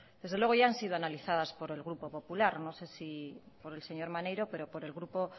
desde luego ya han sido analizadas por el grupo popular no sé si por el señor maneiro pero por el grupo